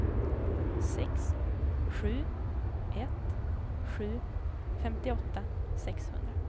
sex sju ett sju femtioåtta sexhundra